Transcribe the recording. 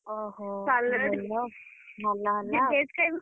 ଓହୋ ଭଲ ହେଲା ଆଉ ।